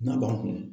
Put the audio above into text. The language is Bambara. N'a b'a kun